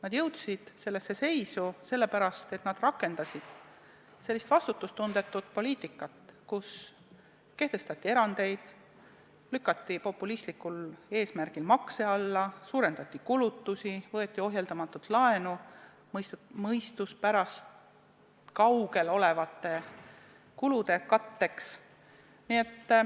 Nad jõudsid sellesse seisu sellepärast, et nad rakendasid sellist vastutustundetut poliitikat, kus kehtestati erandeid, lükati populistlikul eesmärgil makse alla, suurendati kulutusi, võeti ohjeldamatult laenu mõistuspärasusest kaugel olevate kulude katteks.